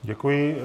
Děkuji.